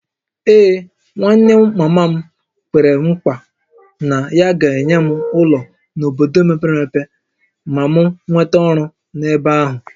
Ee, nwanne mama m kwere nkwa na ya ga-enye m ụlọ n’obodo mepere emepe ma m nweta ọrụ n’ebe ahụ